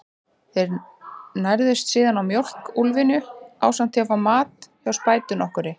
Þeir nærðust síðan á mjólk úlfynju, ásamt því að fá mat hjá spætu nokkurri.